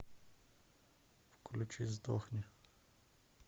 включи сдохни